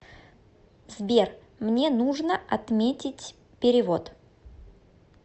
сбер мне нужно отметить перевод